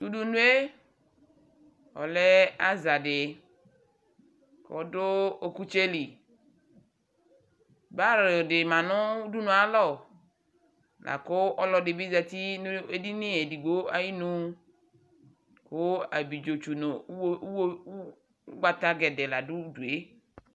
Tu udunu yɛ ɔlɛ aza di ku ɔdu ɔkutsɛ li baa di ma nu udu nu yɛ ayu alɔ laku ɔlu ɛdi bi za uti nu edini edigbo ayinu Ku ablidzotsu nu ugbata poo la du udu yɛ